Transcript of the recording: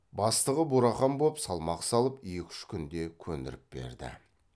бастығы бурахан боп салмақ салып екі үш күнде көндіріп берді